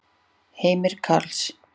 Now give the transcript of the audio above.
Heimir Karls.